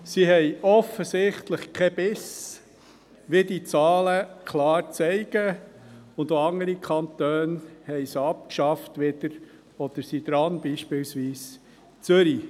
Sie haben offensichtlich keinen Biss, wie die Zahlen klar zeigen, und auch andere Kantone haben sie wieder abgeschafft oder sind daran, beispielsweise Zürich.